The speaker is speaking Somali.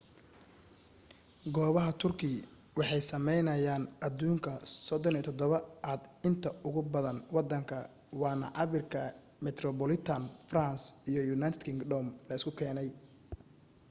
goobaha turkey waxay sameyeynayaan aduunka 37 aad inta ugu badan wadanka waana cabirka metropolitan france iyo united kingdom la isu keenay